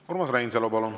Urmas Reinsalu, palun!